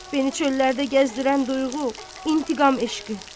Məni çöllərdə gəzdirən duyğu intiqam eşqi.